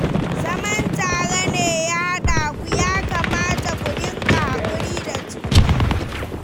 Zaman tare ne ya haɗa ku, ya kamata ku dinga haƙuri da juna.